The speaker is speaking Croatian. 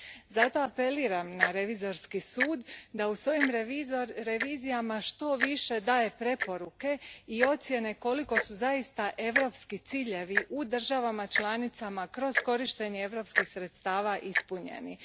Zato apeliram na Revizorski sud da u svojim revizijama što više daje preporuke i ocjene koliko su zaista europski ciljevi u državama članicama kroz korištenje europskih sredstava ispunjeni.